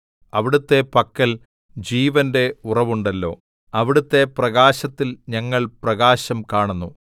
അവിടുത്തെ പക്കൽ ജീവന്റെ ഉറവുണ്ടല്ലോ അവിടുത്തെ പ്രകാശത്തിൽ ഞങ്ങൾ പ്രകാശം കാണുന്നു